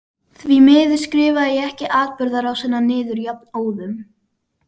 Því miður skrifaði ég ekki atburðarásina niður jafnóðum.